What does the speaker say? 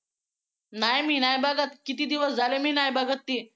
ही मी नाही बघत किती दिवस झाले मी नाही बघत ती